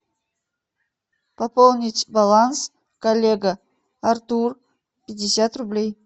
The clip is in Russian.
пополнить баланс коллега артур пятьдесят рублей